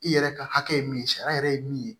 I yɛrɛ ka hakɛ ye min ye sariya yɛrɛ ye min ye